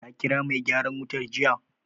Ka ƙira mai gyaran wutar jiya?